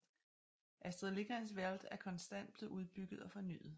Astrids Lindgrens Värld er konstant blevet udbygget og fornyet